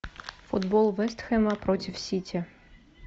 футбол вест хэма против сити